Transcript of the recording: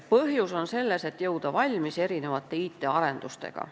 Põhjus on selles, et jõuaks valmis IT-arendustega.